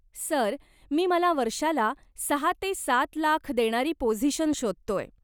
Sir, मी मला वर्षाला सहा ते सात लाख देणारी पोझिशन शोधतोय.